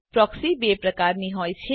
proxy બે પ્રકારની હોય છે